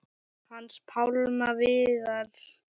Hans Pálma Viðars.